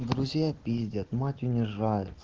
друзья пиздят мать унижает